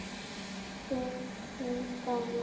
Tökum dæmi: